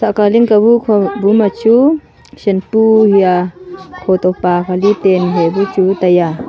aka ling ka bu khu buma chu shampoo hia kho to paka li tan hai bu chu taiya.